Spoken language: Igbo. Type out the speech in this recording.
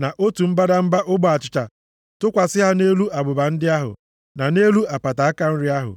na otu mbadamba ogbe achịcha, tụkwasị ha nʼelu abụba ndị ahụ, na nʼelu apata aka nri ahụ.